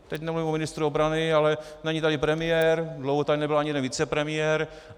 Teď nemluvím o ministru obrany, ale není tady premiér, dlouho tady nebyl ani jeden vicepremiér.